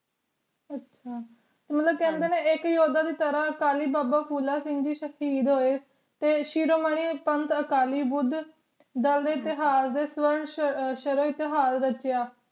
ਅੱਛਾ ਤੇ ਮਤਲਬ ਕਹਿੰਦੇ ਨੇ ਇਕ ਯੋਧਾ ਦੀ ਤਰ੍ਹਾਂ ਅਕਾਲੀ ਬਾਬਾ ਫੂਲਾ ਸਿੰਘ ਜੀ ਸ਼ਾਹਿਦ ਹੋਏ ਤੇ ਸ਼ੀਰੋਮਨੀ ਸੰਤ ਅਕਾਲੀ ਬੁੱਧ ਸ਼ਰਨ ਇਤਿਹਾਸ ਰਚਿਆ